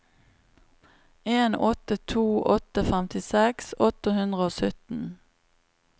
en åtte to åtte femtiseks åtte hundre og sytten